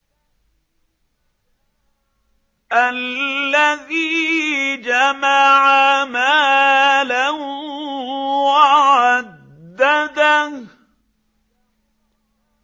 الَّذِي جَمَعَ مَالًا وَعَدَّدَهُ